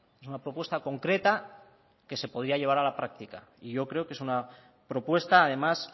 es una propuesta concreta que se podría llevar a la práctica y yo creo que es una propuesta además